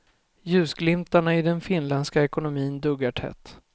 Ljusglimtarna i den finländska ekonomin duggar tätt.